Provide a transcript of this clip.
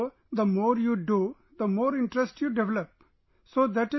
so the more you do, the more interested you get, so that is